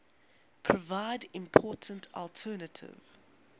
provide important alternative